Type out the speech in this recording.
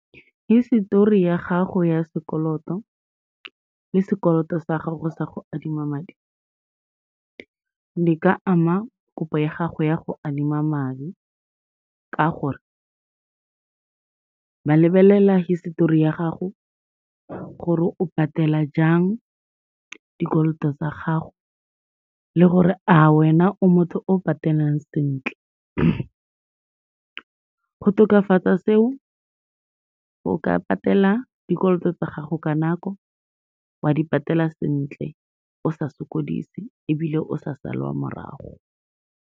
Hisetori ya gago ya sekoloto le sekoloto sa gago sa go adima madi, di ka ama kopo ya gago ya go adima madi ka gore, ba lebelela histori ya gago gore o patela jang dikoloto tsa gago le gore a wena o motho o patelang sentle. Go tokafatsa seo, o ka patela dikoloto tsa gago ka nako, wa di patela sentle o sa sokodise ebile o sa salwa morago.